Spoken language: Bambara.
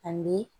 Ani